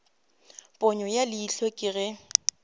ponyo ya leihlo ke ge